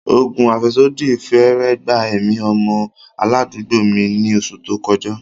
Oògùn afẹsodi fẹ́rẹ̀ẹ́ gba ẹ̀mí ọmọ aládùúgbò mi ní oṣù tó kọjá.